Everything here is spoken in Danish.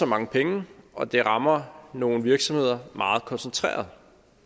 mange penge og det rammer nogle virksomheder meget koncentreret